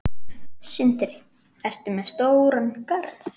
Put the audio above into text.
Sindri: Ertu með stóran garð?